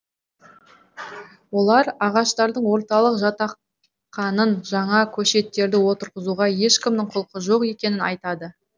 олар ағаштардың оталып жатқанын жаңа көшеттерді отырғызуға ешкімнің құлқы жоқ екенін айтады